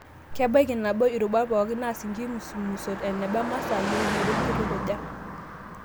Kebaiki nabo irubat pookin naas inkimusumusot eneba masaa, yeunot wenkitukuja